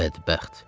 Bədbəxt.